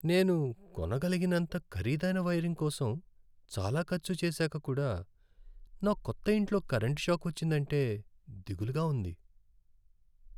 నేను కొనగలిగినంత ఖరీదైన వైరింగ్ కోసం చాలా ఖర్చు చేసాక కూడా నా కొత్త ఇంట్లో కరెంటు షాక్ వచ్చిందంటే దిగులుగా ఉంది.